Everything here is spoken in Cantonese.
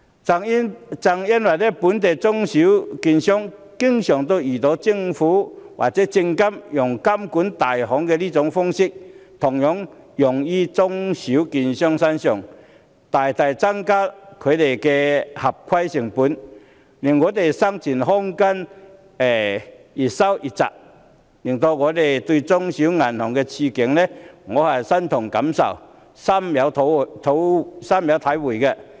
正因為本地的中小型券商經常遇到政府或證券及期貨事務監察委員會以監管大行的模式來監管，大大增加它們的合規成本，使它們的生存空間越來越窄，令我對中小型銀行的處境感同身受，深有體會。